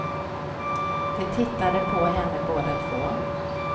De tittade på henne båda två.